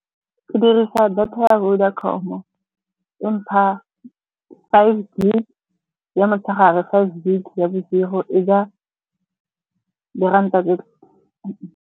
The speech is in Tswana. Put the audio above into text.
Ke dirisa data ya Vodacom-o, e mpha five gig ya motshegare, five gig ya bosigo. E ja di ranta di .